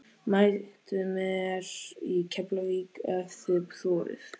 Mætið mér í Keflavík ef þið þorið!